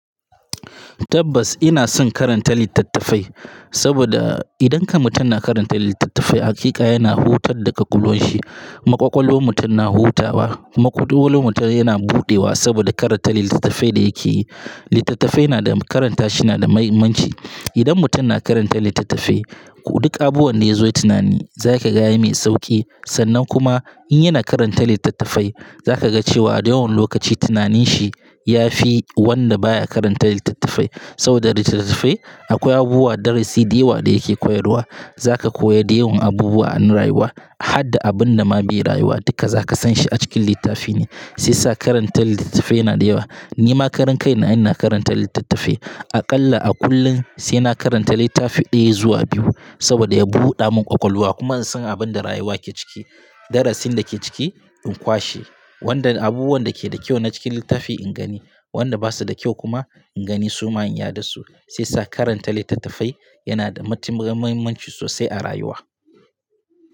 Tabbas ina son karanta littattafai saboda idan kam mutum na karanta littattafai hakika yana hutar da kwakwalwanshi. Kuma ƙwakwalwan mutum na hutawa, kuma kwakwalwan mutum yana buɗewa saboda karanta littattafai da yake yi. Littattafai na da karanta shi na da muhimmanci. Idan mutum na karanta littattafai duk abubuwan da ya zo yi tunani za ka ga ya mai sauki. Sannan kuma in yana karanta littattafai za ka ga cewa a dukan lokaci tunanin shi ya fi wanda baya karanta littattafai. Saboda littattafai akwai abubuwa, darasi, dewa da yake koyarwa. Za ka koya dayawan abubuwa na rayuwa. Har da abun da ma bai rayuwa duka za ka san shi a cikin littafi ne. Sai sa karanta littattafai yana da yawa. Ni ma karin kai na ina karanta littattafai. Aƙalla a kullum sai na karanta littafi ɗaya zuwa biyu saboda ya buɗa mun ƙwaƙwalwa kuma in san abin da rayuwa ke ciki. Darasin da ke ciki in kwashe. Wanda abubuwan da ke da kyau na cikin littafi in gani. Wanda basu da kyau kuma in gani su ma in yada su. Sai sa karanta littattafai yana da muhimmanci sosai a rayuwa.